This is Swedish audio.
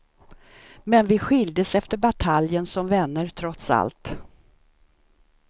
Men vi skiljdes efter bataljen som vänner trots allt.